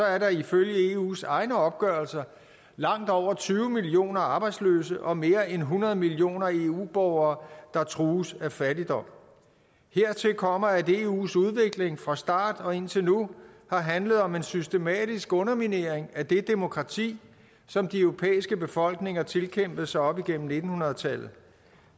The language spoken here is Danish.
er der ifølge eus egne opgørelser langt over tyve millioner arbejdsløse og mere end hundrede millioner eu borgere der trues af fattigdom hertil kommer at eus udvikling fra start og indtil nu har handlet om en systematisk underminering af det demokrati som de europæiske befolkninger tilkæmpede sig op igennem nitten hundrede tallet